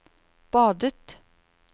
badet